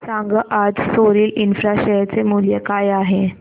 सांगा आज Soril infra share चे मूल्य काय आहे